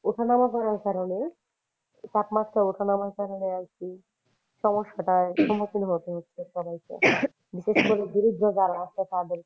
উঠানামা হওয়ার কারণে তাপমাত্রা ওঠানামা কারণে আর কি সমস্যাটা সম্মুখীন হতে হচ্ছে সবাইকে বিশেষ করে দরিদ্র যারা আছে তাদেরকে।